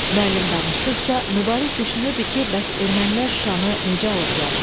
Müəllim danışdıqca Mübariz düşünürdü ki, bəs ermənilər Şuşanı necə alıblar?